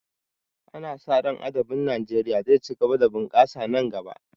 Ana sa ran adabin Najeriya zai ci gaba da bunkasa nan gaba